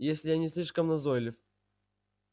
если я не слишком назойлив